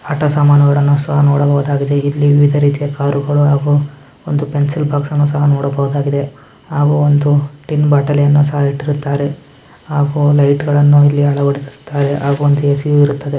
ಆಟ ಸಾಮಾನುಗಳನ್ನು ಸಹ ನೋಡಬಹುದಾಗಿದೆ. ಇಲ್ಲಿ ವಿವಿಧ ರೀತಿಯ ಕಾರ್ಗಳು ಹಾಗು ಒಂದು ಪೆನ್ಸಿಲ್ ಬಾಕ್ಸ್ ಅನ್ನು ಸಹ ನೋಡಬಹುದಾಗಿದೆ ಹಾಗು ಒಂದು ಟಿನ್ ಬೊಟಾಲ್ನ ಸಹ ಇಟ್ಟಿದ್ದಾರೆ ಹಾಗು ಲೈಟ್ಗಳನ್ನ ಸಹ ಇಲ್ಲಿ ಅಳವಡಿಸಿದ್ದಾರೆ ಹಾಗು ಒಂದು ಏ.ಸಿ. ಯು ಇರುತ್ತದೆ.